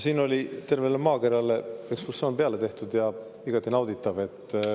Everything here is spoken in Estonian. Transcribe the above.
Siin oli terve maakera ümber ekskursioon tehtud ja see oli igati nauditav.